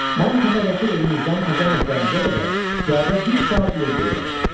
Mən təpədəki evimizdən təzə məktəbimizə qədər piyada bir saat yol gedirəm.